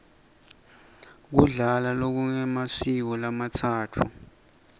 kudla lokungemasiko lamatsatfu